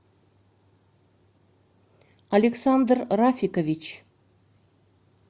александр рафикович